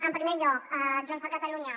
en primer lloc junts per catalunya